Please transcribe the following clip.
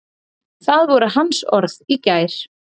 Það voru hans orð í gær.